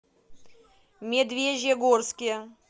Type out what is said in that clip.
медвежьегорске